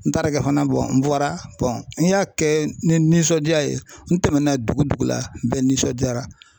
N taara kɛ fana n bɔra n y'a kɛ ni nisɔndiya ye n tɛmɛna dugu dugu la bɛɛ nisɔndiyara